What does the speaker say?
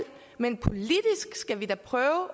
men politisk skal vi da prøve